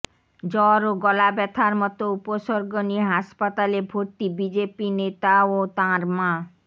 জ্বর ও গলা ব্যাথার মতো উপসর্গ নিয়ে হাসপাতালে ভরতি বিজেপি নেতা ও তাঁর মা